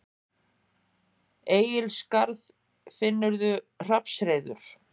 Egilsskarð, finnurðu hrafnshreiður.